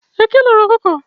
Eke loro ọkụkọ.